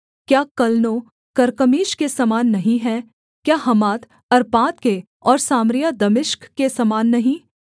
क्या Calno Carchemish के समान नहीं है क्या हमात अर्पाद के और सामरिया दमिश्क के समान नहीं